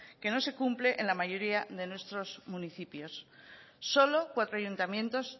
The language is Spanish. que no se cumple en la mayoría de nuestros municipios solo cuatro ayuntamientos